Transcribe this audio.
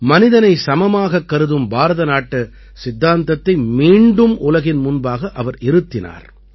மனிதனை சமமாகக் கருதும் பாரதநாட்டு சித்தாந்தத்தை மீண்டும் உலகின் முன்பாக அவர் இருத்தினார்